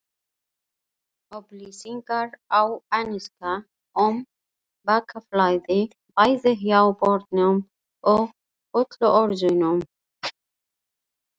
Upplýsingar á ensku um bakflæði, bæði hjá börnum og fullorðnum.